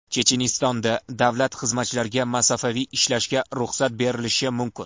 Chechenistonda davlat xizmatchilariga masofaviy ishlashga ruxsat berilishi mumkin.